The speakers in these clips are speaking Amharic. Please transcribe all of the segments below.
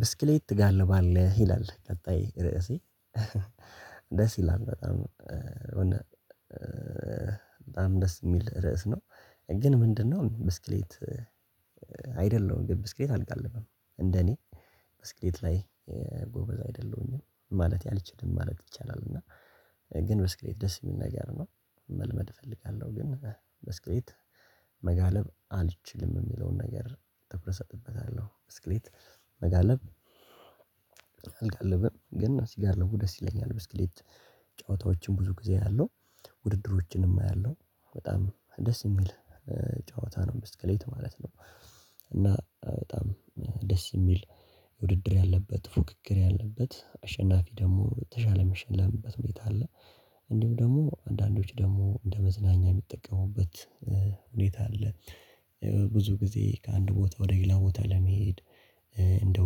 ብስክሌት ትጋልባለህ? ይላል ቀጣይ ርዕሴ ደስ ይላል በጣም። በጣም ደስ የሚል ርዕስ ነው ግን ምንድነው? ብስክሌት አይደለሁም ግን ብስክሌት አልገልብም እንደኔ ብስክሌት ላይ ጎበዝ አይደለሁኝም ማለቴ አልችልም ማለት ይቻላል። እና ግን በስክሌት ደስ የሚል ነገር ነው መልመድ እፈልጋለሁ ግን በስክሌት መጋለብ አልችልም የሚለውን ነገር ተፍረሰትበታለሁ። በስክሌት አልጋለብም ግን ስጋልቡ ደስ ይለኛል። ብስክሌት ጨዋታዎችን ብዙ ጊዜ አያዋለው፤ ውድድሮችንም አያለው፤ በጣም ደስ የሚል ጨዋታ ነው በስከሌት ማለት ነው። እና በጣም ደስ የሚል ውድድር ያለበት፤ ፉክክር ያለበት፤ አሸናፊ ደግሞ በተሻለ የሚሸለምበት መቻል አለ። እንዲሁም ደግሞ አንዳንዶች ደግሞ እንደ መዝናኛ የሚጠቀሙበት ሁኔታ አለ። ብዙ ጊዜ ከአንድ ቦታ ወደ ሌላ ቦታ ለመሄድ፤ እንዲሁም እንደ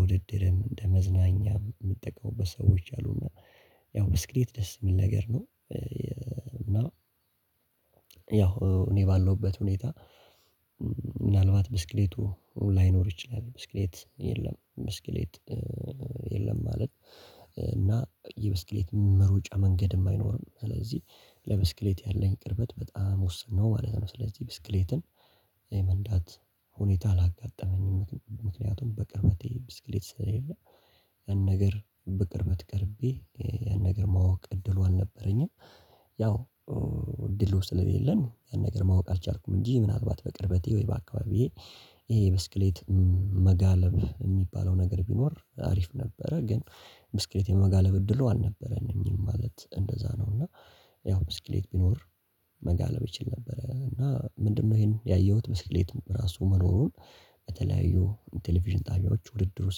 ውድድርም፤ እንደ መዝናኛም የምጠቀሙበት ሰዎች አሉና ያው ብስክሌት ደስ የሚል ነገር ነው። እና ያው እኔ ባለውበት ሁኔታ ምናልባት ብስክሌቱ ላይኖር ይችላል። ብስክሌት የለም ብስክሌት የለም ማለት የብስክሌት መሩጫ መንገድም አይኖርም፤ ስለዚህ ለብስክሌት ያለኝ ቅርበት በጣም ወሰን ነው ማለት ነው። ስለዚህ ብስክሌትን የመንዳት ሁኔታ አላጋጠመኝም። ምክንያቱም በቅርበቴ ብስክሌት ስለሌለ፤ ያን ነገር በቅርበት ቀርቤ ያን ነገር ማወቅ እድሉ አልነበረኝም። ያው እድሉ ስለሌለን ያን ነገር ማወቅ አልቻልኩም እንጂ ምናልባት በቅርበቴ ወይ በአካባቢዬ ይሄ የብስክሌት መጋለብ የሚባለው ነገር ቢኖር አሪፍ ነበረ። ግን ብስክሌት የመጋለብ እድሉ አልነበረኝም ማለት እንደዛ ነው። እና ያው ብስክሌት ቢኖር መጋለብ ይችል ነበረ። እና ምንድነው ይሄን ያየሁት መስክሌት በራሱ መኖሩን በተለያዩ ቴሌቪዥን ጣቢያዎች ውድድሩ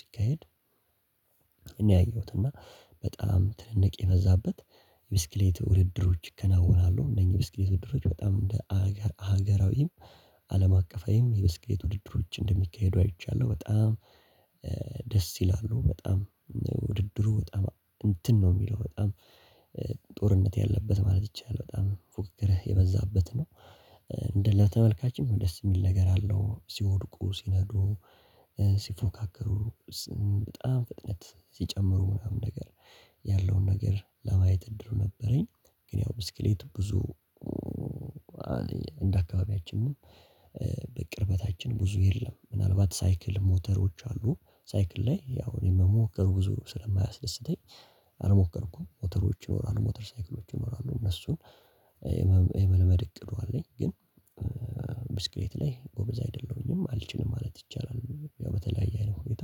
ሲካሄድ እኔ ያየሁት እና በጣም ትንቅ የበዛበት ብስክሌት ውድድሮች ይከናወናሉ። እነኝህ የብስክሌት ውድድሮች በጣም እንደ ሀገራዊም፤ አለም አቀፋዊም፤ የብስክሌት ውድድሮች እንደሚካሄዱ አይቻለሁ በጣም ደስ ይላሉ በጣም ውድድሩ በጣም እንትን ነው የሚለው በጣም ጦርነት ያለበት ማለት ይቻላል በጣም ፉክክርህ የበዛበት ነው። ተመልካችም ደስ የሚል ነገር አለው ሲወድቁ ሲነዱ ሲፎካከሩ በጣም ፍጥነት ሲጨምሩ፤ ምናምን ነገር ያለውን ነገር ለማየት እድሉ ነበረኝ። ግን ያው ብስክሌት ብዙ እንደ አካባቢያችን በቅርበታችን ብዙ የለም ምናልባት ሳይክል ሞተሮች አሉ ሳይክል ላይ ያው እኔ የመሞክር ብዙ ስለማያስደስተኝ፤ አልሞከርኩም ሞተሮች ይኖራሉ፤ ሞተር ሳይክሎች ይኖራሉ፤ እነሱን የመልመድ እቅዱ አለኝ። ግን ብስክሌት ላይ ጎብዛ አይደለሁኝም። አልችልም ማለት ይቻላል። ያው በተለያየ አይነት ሁኔታ፤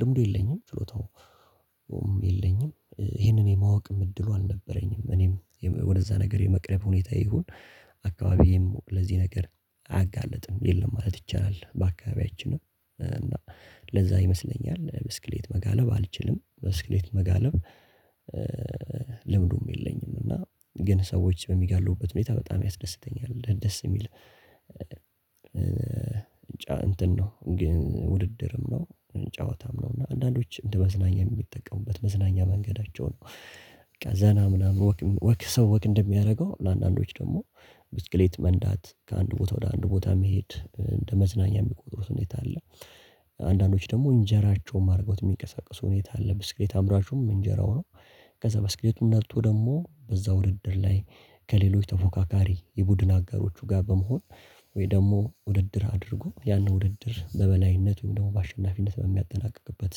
ልምዱ የለኝም፤ ችሎታውም የለኝም፤ ይሄንን የማወቅም እድሉ አልነበረኝም፤ እኔም ወደዛ ነገር የመቅረብ ሁኔታ ይሁን አካባቢዬም ለዚህ ነገር አያጋልጥም የለም ማለት ይቻላል። በአካባቢያችንም እና ለዛ ይመስለኛል በስክሌት መጋለብ አልችልም በስክሌት መጋለብ ልምዱም የለኝም እና፤ ግን ሰዎች በሚጋሉበት ሁኔታ በጣም ያስደስተኛል ደስ የሚል እንትን ነው ግን ውድድርም ነው ጨዋታም ነው እና አንዳንዶች እንደ መዝናኛ የሚጠቀሙበት መዝናኛ መንገዳቸው ነው በቃ ዘና ምናምን ወክ ሰው ወክ እንደሚያደርገው ለአንዳንዶች ደግሞ ብስክሌት መንዳት ከአንድ ቦታ ወደ አንድ ቦታ መሄድ እንደ መዝናኛ የሚቆጥሩት ሁኔታ አለ አንዳንዶች ደግሞ እንጀራቸውንም አድረጎት የሚቀሳቀሱ ሁኔታ አለ ብስክሌት አምራችሁም እንጀራው ነው ከዛ በስክልቱን ነደቶ ደግሞ በዛ ውድድር ላይ ከሌሎች ተፎካካሪ የቡድን አጋሮቹ ጋር በመሆን ወይ ደግሞ ውድድር አድርጎ ያንን ውድድር በበላይነት ወይም ደግሞ በአሸናፊነት በሚያጠናቅቅበት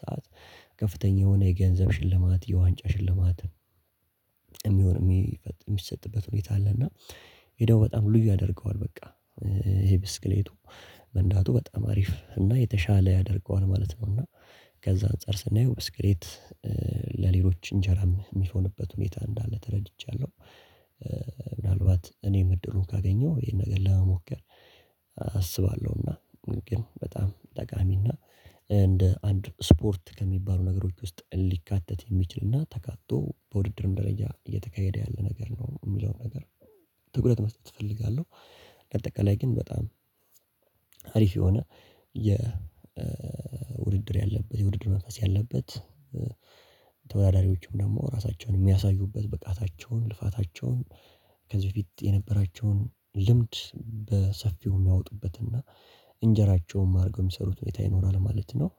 ሰዓት ከፍተኛ የሆነ የገንዘብ ሽልማት የዋንጫ ሽልማትም የሚሆን የሚሰጥበት ሁኔታ አለ እና ይሄ ደግሞ በጣም ልዩ ያደርገዋል በቃ ይሄ ብስክሌቱ መንዳቱ በጣም አሪፍ እና የተሻለ ያደርገዋል ማለት ነው እና ከዛ አንፃር ስናየው ብስክሌት ለሌሎች እንጀራም የሚሆንበት ሁኔታ እንዳለ ተረድቻለሁ ምናልባት እኔም እድሉን ካገኘሁ ይሄን ነገር ለመሞከር አስባለሁና ግን በጣም ጠቃሚና እንደ አንድ ስፖርት ከሚባሉ ነገሮች ውስጥ ሊካተት የሚችልና ተካቶ በውድድር እንደለያ እየተካሄደ ያለ ነገር ነው የምለው ነገር ትኩረት መስጠት እፈልጋለሁ ለጠቅላይ ግን በጣም አሪፍ የሆነ የውድድር ያለበት የውድድር መንፈስ ያለበት ተወዳዳሪዎችም ደግሞ ራሳቸውን የሚያሳዩበት ብቃታቸውን ልፋታቸውን ከዚህ በፊት የነበራቸውን ልምድ በሰፊው የሚያወጡበት እና እንጀራቸውም አድርገው የሚሰሩት ሁኔታ ይኖራል ማለት ነው